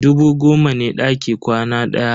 Dubu goma ne daki kwana ɗaya.